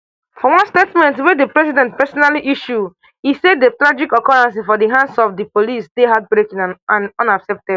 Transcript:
statement wey di president personally issue e say di tragic occurrence for di hands of di police dey heartbreaking and unacceptey